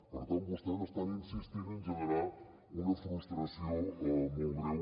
per tant vostès estan insistint en generar una frustració molt greu